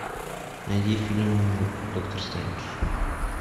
найди фильм доктор стрэндж